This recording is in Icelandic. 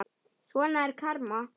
Svona er karma.